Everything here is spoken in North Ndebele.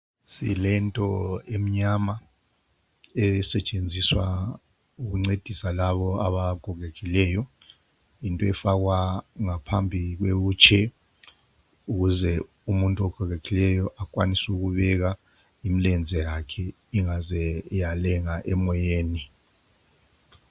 Silento emnyama esetshenziswa ukuncedisa labo abagogekileyo. Into efakwa ngaphambi kwe wheelchair ukuze umuntu ogogekileyo akwanise ukubeka imilenze yakhe ingaze yalenga emoyeni.